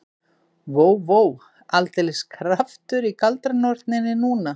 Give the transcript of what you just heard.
Vó, vó, aldeilis kraftur í galdranorninni núna.